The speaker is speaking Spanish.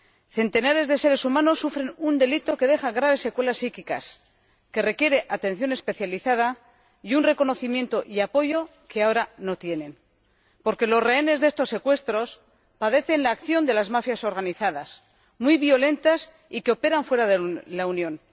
Centenares de seres humanos sufren un delito que deja graves secuelas psíquicas y requieren atención especializada y un reconocimiento y apoyo que ahora no tienen, porque los rehenes de estos secuestros padecen la acción de las mafias organizadas, muy violentas y que operan fuera de la Unión.